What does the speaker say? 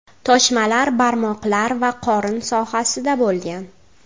Toshmalar barmoqlar va qorin sohasida bo‘lgan.